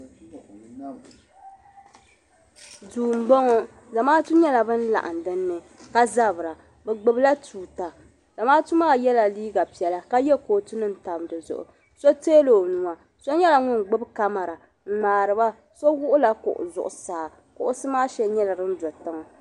Duu m bo ŋɔ zamaatu bin laɣim din ni ka zabira bɛ gbubila tuuta zamaatu maa yela liiga piɛla ka ye kootunim n tam di zuɣu so tɛɛla o nuwa so nyela ŋun gbubi kamara n ŋmaariba so gbubila kuɣu zuɣu saa kuɣusi maa shɛli nyela din do tiŋa.